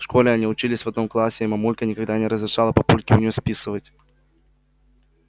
в школе они учились в одном классе и мамулька никогда не разрешала папульке у неё списывать